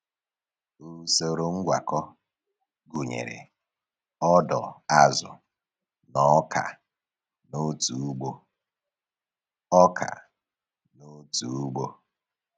Usoro ngwakọ gụnyere ọdọ azụ na ọka n'otu ugbo. ọka n'otu ugbo.